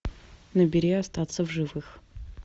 набери остаться в живых